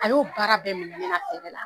A y'o baara bɛɛ minɛ ne la la